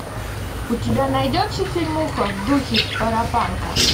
у тебя найдется фильмуха в духе паропанка